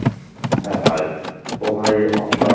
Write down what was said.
হ্যাঁ ভাই, তো ভাই আপনার